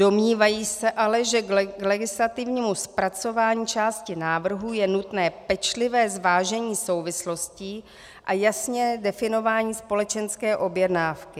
Domnívají se ale, že k legislativnímu zpracování části návrhu je nutné pečlivé zvážení souvislostí a jasné definování společenské objednávky.